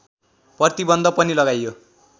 प्रतिबन्ध पनि लगाइयो